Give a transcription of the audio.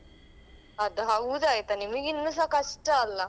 ಅದು ಹೌದಾಯ್ತಾ ನಿಮ್ಗೆ ಇನ್ನುಸ ಕಷ್ಟ ಅಲ್ಲಾ?